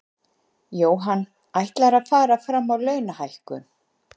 Jóhann: Ætlarðu að fara fram á launalækkun?